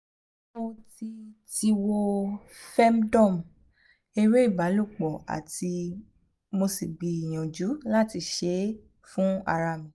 mo ti ti wo femdome ere ibalopo ati mo si gbiyanju lati se e fun ara mi